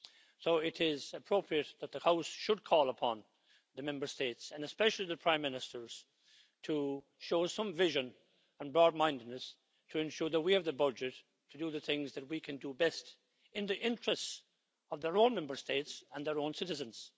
So it is appropriate that the House should call upon the Member States, and especially the Prime Ministers, to show some vision and broad mindedness to ensure that we have the budget to do the things that we can do best in the interests of their own Member States and their own citizens.